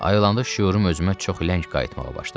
Ayılanda şüurum özümə çox ləng qayıtmağa başladı.